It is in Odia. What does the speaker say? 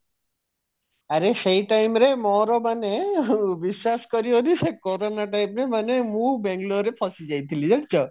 ଆରେ ସେଇ time ରେ ମୋର ମାନେ ବିଶ୍ବାସ କରିବନି ସେ କୋରୋନା time ରେ ମାନେ ମୁଁ ବାଙ୍ଗାଲୋର ରେ ଫସି ଯାଇଥିଲି ଜାଣିଛ